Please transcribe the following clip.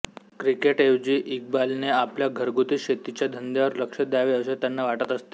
क्रिकेटऍवजी इक्बालने आपल्या घरगुती शेतीच्या धंद्यावर लक्ष द्यावे असे त्यांना वाटत असते